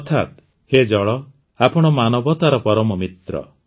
ଅର୍ଥାତ୍ ହେ ଜଳ ଆପଣ ମାନବତାର ପରମ ମିତ୍ର